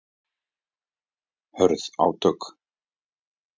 Hörð átök